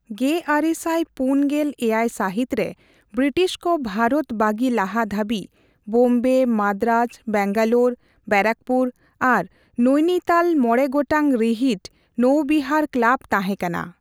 ᱑᱙᱔᱗ ᱥᱟᱹᱦᱤᱛ ᱨᱮ ᱵᱨᱤᱴᱤᱥ ᱠᱚ ᱵᱷᱟᱨᱚᱛ ᱵᱟᱜᱤ ᱞᱟᱦᱟ ᱫᱷᱟᱹᱵᱤᱡ ᱵᱳᱢᱵᱮ, ᱢᱟᱫᱽᱫᱨᱟᱡᱽ, ᱵᱮᱝᱜᱟᱞᱳᱨ, ᱵᱮᱨᱟᱠᱯᱩᱨ ᱟᱨ ᱱᱳᱭᱱᱤᱛᱟᱞ ᱢᱚᱬᱮ ᱜᱚᱴᱟᱝ ᱨᱤᱦᱤᱴ ᱱᱳᱣᱵᱤᱦᱟᱨ ᱠᱞᱟᱵᱽ ᱛᱟᱦᱮᱸ ᱠᱟᱱᱟ ᱾